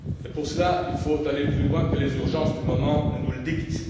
Pour cela, il faut aller plus loin que les urgences du moment ne nous le dictent.